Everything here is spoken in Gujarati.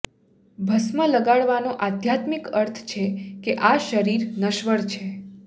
ભસ્મ લગાડવાનો આધ્યાત્મિક અર્થ છે કે આ શરીર નશ્વર છે